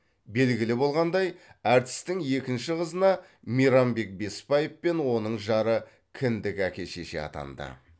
белгілі болғандай әртістің екінші қызына мейрамбек бесбаев пен оның жары кіндік әке шеше атанды